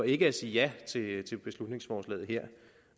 ikke at sige ja sige ja til beslutningsforslaget her